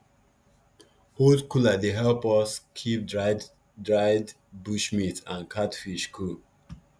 old cooler dey help us keep dried dried bush meat and catfish cool